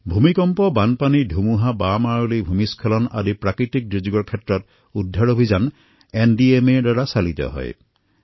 ভূমিকম্পই হওক বানপানীয়েই হওক ধুমুহাই হওক ভূমিস্খলনৰ দৰে বিভিন্ন দুৰ্যোগত উদ্ধাৰ কাৰ্যৰ বাবে এনডিএমএয়ে তৎকালীনভাৱে উপস্থিত হয়